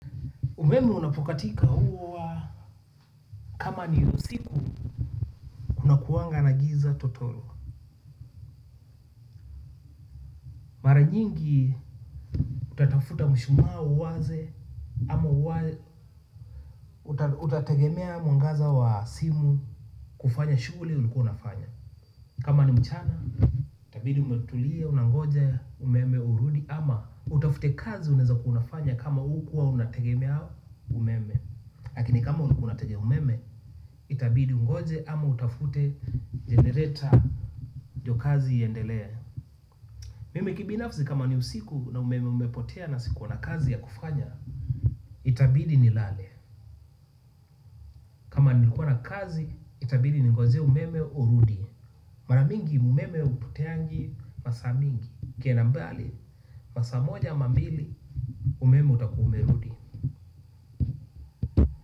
Umeme unapokatika huwa kama ni usiku kunakuanga na giza totoro. Mara nyingi utatafuta mshumaa uwashe ama utategemea mwangaza wa simu kufanya shughuli ulikuwa unafanya. Kama ni mchana itabidi umetulia unangoja umeme urudi ama utafute kazi unaweza kuwa unafanya kama hukuwa unategemea umeme. Lakini kama ulikuwa unategea umeme, itabidi ungoje ama utafute generator ndio kazi iendelee mimi kibinafsi kama ni usiku na umeme umepotea na sikuwa na kazi ya kufanya itabidi nilale, kama nilikuwa na kazi, itabidi ningoje umeme urudi mara mingi umeme haupoteangi masaa mingi ikienda mbali, masaa moja ama mbili umeme utakuwa umerudi.